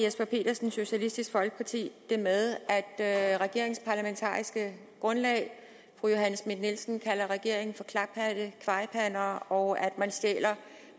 jesper petersen socialistisk folkeparti det med at regeringens parlamentariske grundlag fru johanne schmidt nielsen kalder regeringen for klaphatte kvajpander og at man stjæler